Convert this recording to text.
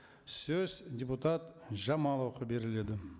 сөз депутат жамаловқа беріледі